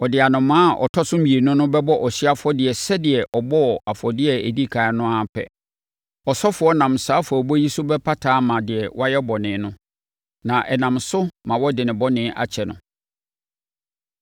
Ɔde anomaa a ɔtɔ so mmienu no bɛbɔ ɔhyeɛ afɔdeɛ sɛdeɛ ɔbɔɔ afɔdeɛ a ɛdi ɛkan no ara pɛ. Ɔsɔfoɔ no nam saa afɔrebɔ yi so bɛpata ama deɛ wayɛ bɔne no, na ɛnam so ma wɔde ne bɔne akyɛ no.